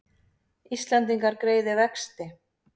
Íslendingar greiði vexti